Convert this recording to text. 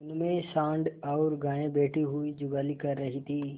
उनमें सॉँड़ और गायें बैठी हुई जुगाली कर रही थी